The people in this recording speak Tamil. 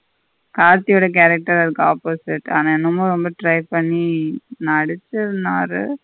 கார்த்தி ஓட character அதுக்கு opposite ஆனா என்னமோ ரெம்ப try பண்ணி நடிசிருந்தாறு.